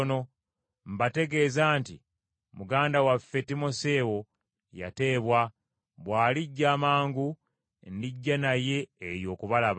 Mbategeeza nti muganda waffe Timoseewo yateebwa, bw’alijja amangu, ndijja naye eyo okubalaba.